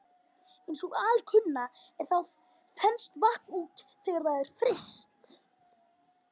Eins og alkunna er þá þenst vatn út þegar það er fryst.